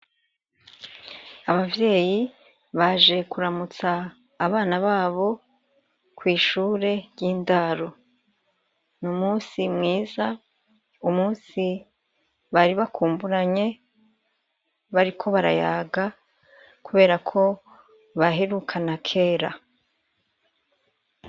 abavyeyi baje kuramutsa abana babo kwishure ry'indaro ni umunsi mwiza umunsi bari bakumburanye bari ko barayaga kubera ko baherukana kera